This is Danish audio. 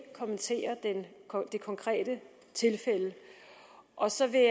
kommentere det konkrete tilfælde og så vil